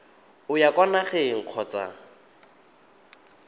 o ya kwa nageng kgotsa